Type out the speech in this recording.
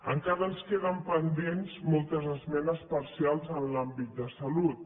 encara ens queden pendents moltes esmenes parcials en l’àmbit de salut